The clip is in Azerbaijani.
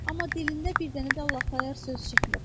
Amma dilində bir dənə də Allah tayyar söz çıxmır.